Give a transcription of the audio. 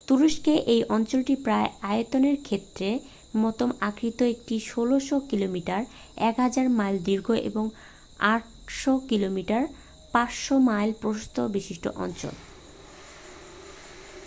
তুরস্কের এই অঞ্চলটি প্রায় আয়তক্ষেত্রের মতো আকৃতির একটি ১৬০০ কিলোমিটার ১০০০ মাইল দীর্ঘ এবং ৮০০ কিলোমিটার ৫০০ মাইল প্রস্থ বিশিষ্ট অঞ্চল।